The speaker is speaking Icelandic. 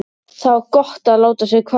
Það var gott að láta sig hverfa.